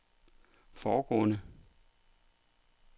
foregående